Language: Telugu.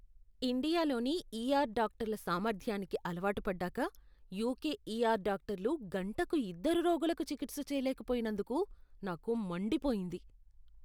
ఇండియాలోని ఈఆర్ డాక్టర్ల సామర్థ్యానికి అలవాటుపడ్డాక, యుకె ఈఆర్ డాక్టర్లు గంటకు ఇద్దరు రోగులకు చికిత్స చేయలేకపోయినందుకు నాకు మండిపోయింది.